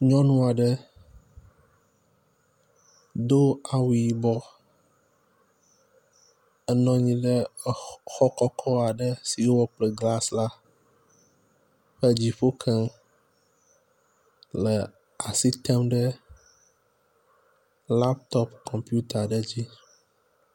Nyɔnu aɖe do awu yibɔ enɔ anyi ɖe xɔ kɔkɔ aɖe si wowɔ kple glasi la ƒe dziƒo ke le as item ɖe laptɔp kɔmputa aɖe dzi.